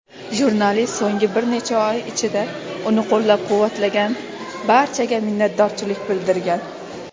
Jurnalist so‘nggi bir necha oy ichida uni qo‘llab-quvvatlagan barchaga minnatdorlik bildirgan.